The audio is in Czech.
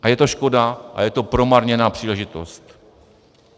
A je to škoda a je to promarněná příležitost.